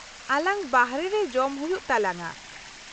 - ᱟᱞᱟᱝ ᱵᱟᱦᱨᱮ ᱨᱮ ᱡᱚᱢ ᱦᱩᱭᱩᱜ ᱛᱟᱞᱟᱝᱟ ᱾